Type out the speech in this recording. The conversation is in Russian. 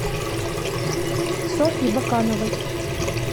софьи бакановой